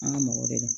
An ka mɔgɔ de don